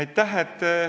Aitäh!